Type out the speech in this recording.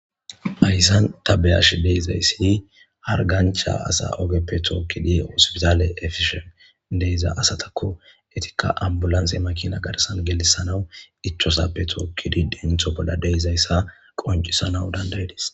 Hayssan tabeyash deizayssi har gancha asa ogeppe tookkidi ausibizaale efishen deiza asatakko etikka ambulanse makina garsan gelissanawu ichosappe tookkidi dentho bolla deizayssa qoncisanau dandayidis.